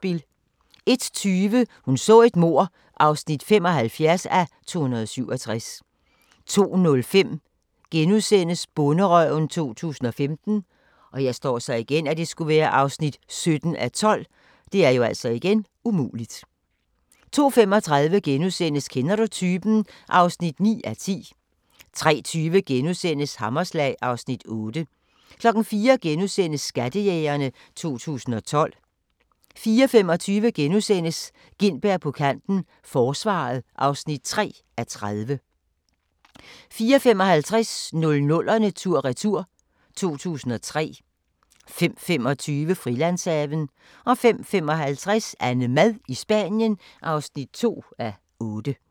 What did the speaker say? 01:20: Hun så et mord (75:267) 02:05: Bonderøven 2015 (17:12)* 02:35: Kender du typen? (9:10)* 03:20: Hammerslag (Afs. 8)* 04:00: Skattejægerne 2012 * 04:25: Gintberg på kanten - Forsvaret (3:30)* 04:55: 00'erne tur-retur: 2003 05:25: Frilandshaven 05:55: AnneMad i Spanien (2:8)